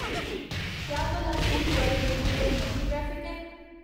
क्या भला सिंहगढ़ रोड उप्पर मती ट्रैफिक ऐ